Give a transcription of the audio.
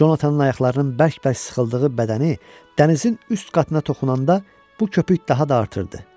Conatanın ayaqlarının bərk-bərk sıxıldığı bədəni dənizin üst qatına toxunanda bu köpük daha da artırdı.